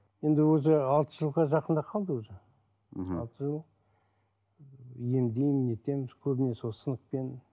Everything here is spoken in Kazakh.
енді өзі алты жылға жақындап қалды уже мхм алты жыл емдеймін нетемін көбіне сол сынықпен